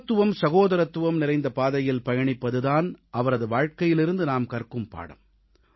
சமத்துவம் சகோதரத்துவம் நிறைந்த பாதையில் பயணிப்பது தான் அவரது வாழ்க்கையிலிருந்து நாம் கற்கும் பாடம்